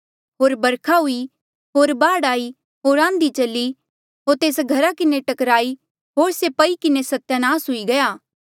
होर बरखा हुई होर बाढ़ आई होर आन्धी चली होर तेस घरा किन्हें टक्कराई होर से पई किन्हें सत्यानास हुई गया